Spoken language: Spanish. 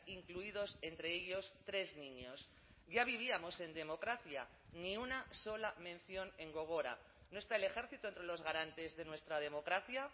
incluidos entre ellos tres niños ya vivíamos en democracia ni una sola mención en gogora no está el ejército entre los garantes de nuestra democracia